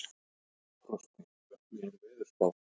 Frosti, hvernig er veðurspáin?